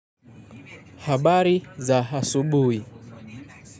Habari za hasubui.